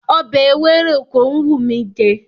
Ọbẹ̀ ewéròkó ń wùn mí jẹ.